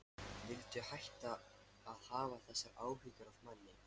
Viltu hætta að hafa þessar áhyggjur af manni!